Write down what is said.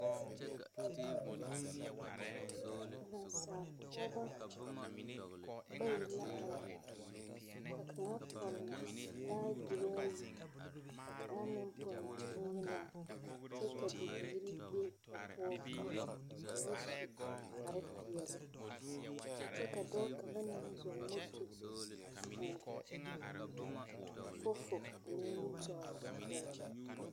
Nasaal pɔgebɔ bayi la are ka kaŋa pɔnne baagiri ayi ka kaŋa meŋ pɔnne bonyenaa kyɛ ka bibiiri be ba poɔ ka ba su kpare peɛle kyɛ ka dɔɔ kaŋa meŋ zɔŋ moto a eŋ fofo o nimitɔɔre poɔ.